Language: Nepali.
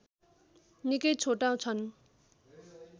निकै छोटा छन्